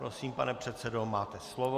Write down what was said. Prosím, pane předsedo, máte slovo.